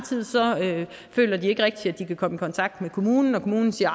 føler at de ikke rigtig kan komme i kontakt med kommunen og at kommunen siger